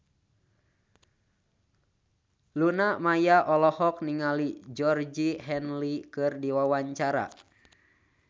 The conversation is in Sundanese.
Luna Maya olohok ningali Georgie Henley keur diwawancara